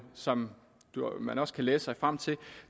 som man også kan læse sig frem til